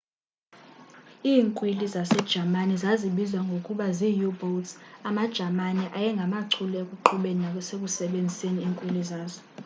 iinkwili zasejamani zazibizwa ngokuba zii-u-boats amajamani ayengamachule ekuqhubeni nasekusebenziseni iinkwili zazo